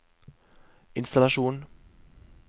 innstallasjon